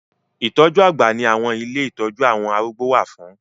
Ìtọ́jú àgbà ni àwọn ilé ìtọ́jú àwọn arúgbó wà fún